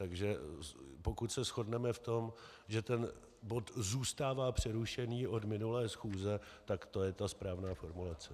Takže pokud se shodneme v tom, že ten bod zůstává přerušený od minulé schůze, tak to je ta správná formulace.